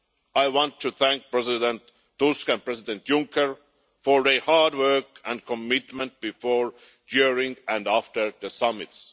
I want to thank President Tusk and President Juncker for their hard work and commitment before, during and after the summits.